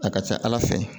A ka ca ala fɛ